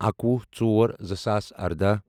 اَکوُہ ژور زٕ ساس ارداہ